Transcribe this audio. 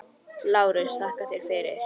LÁRUS: Þakka yður fyrir.